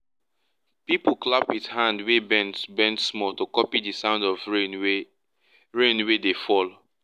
people clap with hand wey bend small to copy the sound of rain wey rain wey dey fall.